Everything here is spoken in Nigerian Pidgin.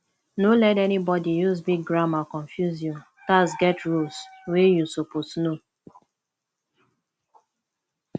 no let anybody use big grammar confuse you tax get rules wey you suppose know